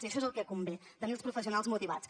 i això és el que convé tenir els professionals motivats